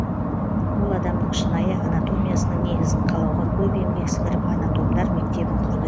ол адамның шынайы анатомиясының негізін қалауға көп еңбек сіңіріп анатомдар мектебін құрды